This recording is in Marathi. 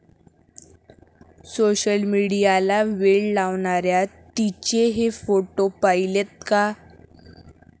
सोशलमीडियाला वेड लावणाऱ्या 'ती'चे हे फोटो पाहिलेत का?